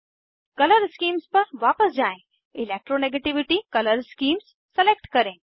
colour schemes पर वापस जाएँ इलेक्ट्रोनेगेटिविटी कलर स्कीम्स सलेक्ट करें